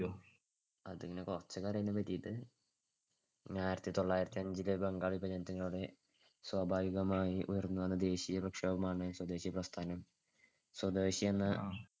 അതിനെ കുറച്ചൊക്കെ അറിയാം അതിനെ പറ്റിയിട്ട്‌. ആയിരത്തിതൊള്ളായിരത്തിഅഞ്ചിലെ ബംഗാൾ വിഭജനത്തിലൂടെ സ്വാഭാവികമായി ഉയർന്നുവന്ന ദേശീയപ്രക്ഷോഭമാണ് സ്വദേശിപ്രസ്ഥാനം. സ്വദേശിയെന്ന